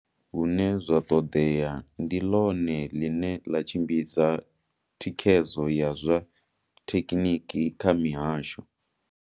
Hune zwa ṱoḓea, ndi ḽone ḽine ḽa tshimbidza thikhedzo ya zwa thekhiniki kha mihasho.